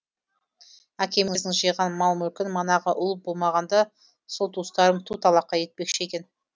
әкеміздің жиған мал мүлкін манағы ұл болмағанда сол туыстарым ту талақай етпекші екен